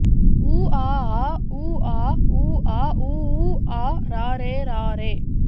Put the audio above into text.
ஊ ஆ ஆ ஊ ஆ ஊ ஆ ஊ ஊ ஆ ரா ரே ரா ரே